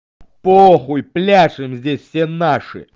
по хуй пляшем здесь все наши